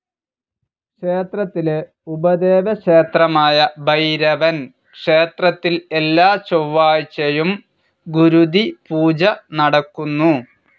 ക്ഷേത്രത്തിലെ ഉപദേവക്ഷേത്രമായ ഭൈരവൻ ക്ഷേത്രത്തിൽ എല്ലാ ചൊവാഴ്ചയും ഗുരുതി പൂജ നടക്കുന്നു.